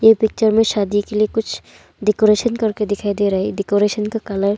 picture में शादी के लिए कुछ डेकोरेशन करके दिखाई दे रहा है डेकोरेशन का कलर--